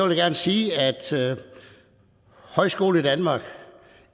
jeg gerne sige at højskoledanmark